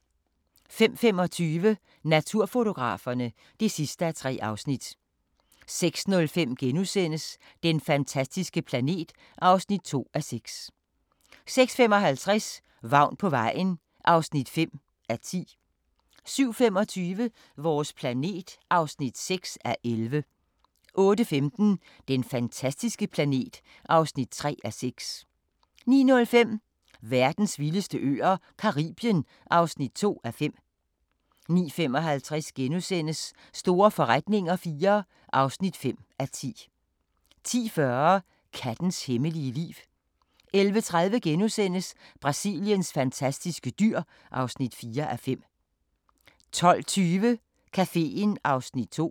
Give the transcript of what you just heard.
05:25: Naturfotograferne (3:3) 06:05: Den fantastiske planet (2:6)* 06:55: Vagn på vejen (5:10) 07:25: Vores planet (6:11) 08:15: Den fantastiske planet (3:6) 09:05: Verdens vildeste øer - Caribien (2:5) 09:55: Store forretninger IV (5:10)* 10:40: Kattens hemmelige liv 11:30: Brasiliens fantastiske dyr (4:5)* 12:20: Caféen (Afs. 2)